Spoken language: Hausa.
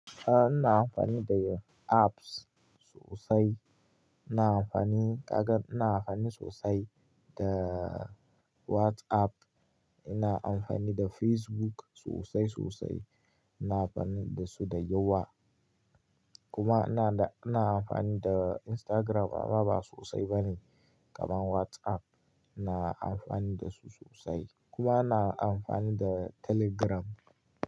A'a, ina amfani da apps sosai. Ina amfani kagan, ina amfani sosai da WhatsApp. Ina amfani da Facebook sosai sosai. Ina amfani da su da yawa. Kuma ina da, ina amfani da Instagram amma ba sosai bane kaman WhatsApp. Ina amfani da su sosai. Kuma ina amfani da Telegram.